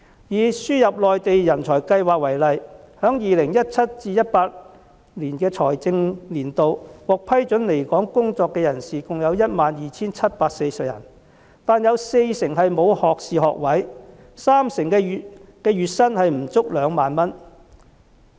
以輸入內地人才計劃為例，在 2017-2018 財政年度，獲批准來港工作的人士有 12,740 人，但有四成人沒有學士學位，三成人的月薪不足2萬元。